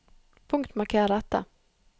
Punktmarker dette